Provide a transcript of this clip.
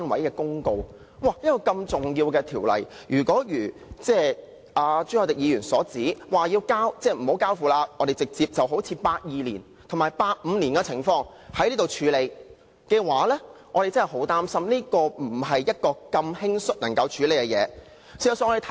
一項如此重要的《條例草案》，朱凱廸議員動議不交付內務委員會處理，正如1982年及1985年的情況般，直接在本次立法會會議處理，我恐怕這不是如此輕率就能處理的議題。